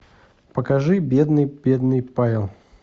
покажи бедный бедный павел